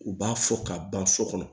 U b'a fɔ ka ban so kɔnɔ